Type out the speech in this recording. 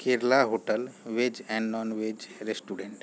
Kerala hotel veg and non veg restaurant --